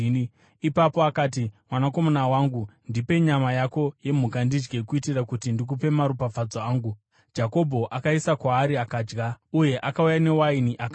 Ipapo akati, “Mwanakomana wangu, ndipe nyama yako yemhuka ndidye, kuitira kuti ndikupe maropafadzo angu.” Jakobho akaiisa kwaari akadya; uye akauya newaini akanwa.